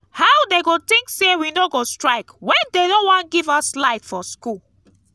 how dey go think say we no go strike wen dey no wan give us light for school